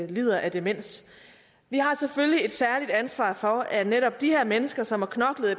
lider af demens vi har selvfølgelig et særligt ansvar for at netop de her mennesker som har knoklet